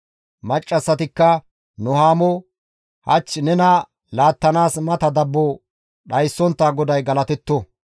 Maccassatikka Nuhaamo, «Hach nena laattanaas mata dabbo dhayssontta GODAY galatetto!